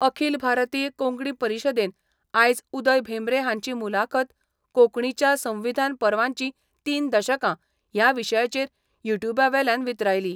अखील भारतीय कोंकणी परीशदेन आयज उदय भेंब्रे हांची मुलाखत कोंकणीच्या संविधान पर्वाचीं तीन दशकां या विशयाचेर यु ट्युबा वेल्यान वितरायली.